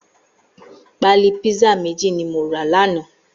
Pàlí pizza méjí ni mó rà làná